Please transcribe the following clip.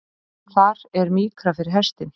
Þar er mýkra fyrir hestinn.